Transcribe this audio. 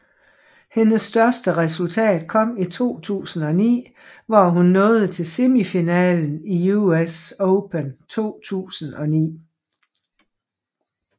Hendes største resultat kom i 2009 hvor hun nåede til semifinalen i US Open 2009